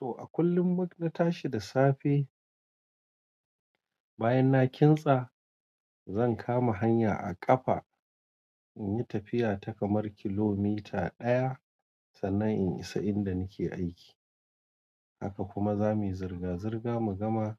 To a kullum mut-- na tashi da safe, bayan na kintsa zan kama hanya a ƙafa inyi tafiya ta kamar kilomita ɗaya sannan in isa inda nake aiki. Haka kuma zamuyi zirga-zirga mu gama